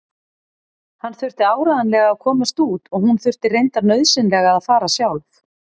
Hann þurfti áreiðanlega að komast út og hún þurfti reyndar nauðsynlega að fara sjálf.